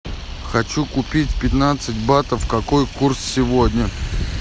хочу купить пятнадцать батов какой курс сегодня